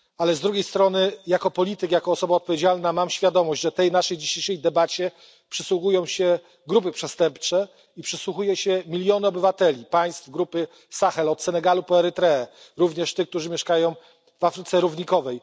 Z drugiej strony jako polityk, jako osoba odpowiedzialna mam świadomość, że tej naszej dzisiejszej debacie przysłuchują się grupy przestępcze i przysłuchują się miliony obywateli państw grupy Sahel, od Senegalu po Erytreę, również tych, którzy mieszkają w Afryce Równikowej.